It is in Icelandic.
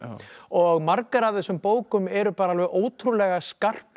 og margar af þessum bókum eru bara alveg ótrúlega skarpar